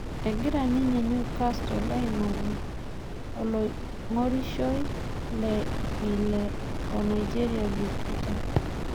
Egira ninye Newcastle Aing'oru oong'orisho le llile o Nigeria Vikita